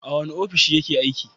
A wane ofishi yake aiki?